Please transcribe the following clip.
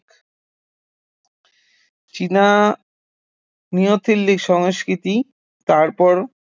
চীনা নিওলিথিক সংস্কৃতি তারপর